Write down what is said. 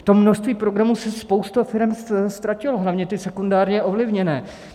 V tom množství programů se spousta firem ztratila, hlavně ty sekundárně ovlivněné.